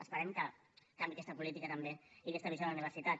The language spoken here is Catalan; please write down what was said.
esperem que canviï aquesta política també i aquesta visió de la universitat